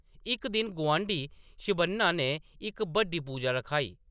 इक दिन, गुआंढी शिवन्ना ने इक बड्डी पूजा रखाई ।